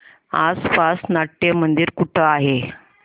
आसपास नाट्यमंदिर कुठे आहे